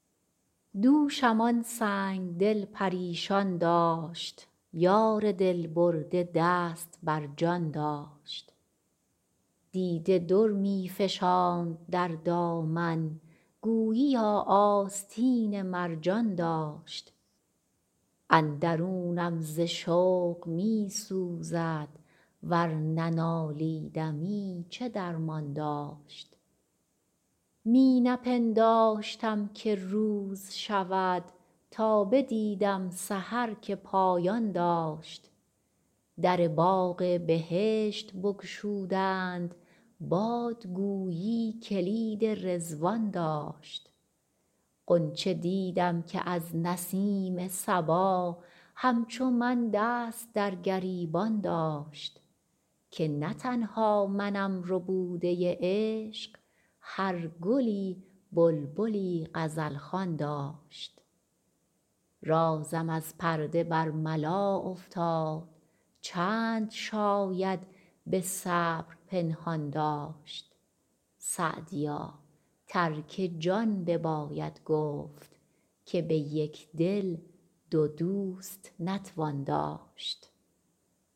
دوشم آن سنگ دل پریشان داشت یار دل برده دست بر جان داشت دیده در می فشاند در دامن گوییا آستین مرجان داشت اندرونم ز شوق می سوزد ور ننالیدمی چه درمان داشت می نپنداشتم که روز شود تا بدیدم سحر که پایان داشت در باغ بهشت بگشودند باد گویی کلید رضوان داشت غنچه دیدم که از نسیم صبا همچو من دست در گریبان داشت که نه تنها منم ربوده عشق هر گلی بلبلی غزل خوان داشت رازم از پرده برملا افتاد چند شاید به صبر پنهان داشت سعدیا ترک جان بباید گفت که به یک دل دو دوست نتوان داشت